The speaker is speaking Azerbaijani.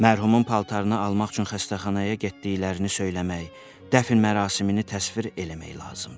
Mərhumun paltarını almaq üçün xəstəxanaya getdiklərini söyləmək, dəfn mərasimini təsvir eləmək lazımdır.